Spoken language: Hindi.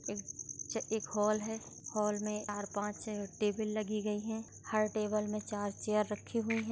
एक एक हॉल हैं। हॉल में चार पाच छे टेबल लगी गयी हैं। हर टेबल में चार चेयर रखी हुई है।